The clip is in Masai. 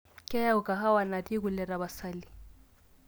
kayeu kahawa natii kule tapasali